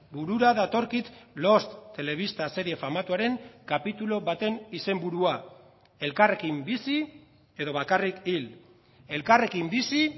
burura datorkit lost telebista serie famatuaren kapitulu baten izenburua elkarrekin bizi edo bakarrik hil elkarrekin bizi